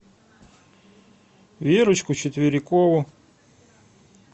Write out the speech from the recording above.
верочку четверикову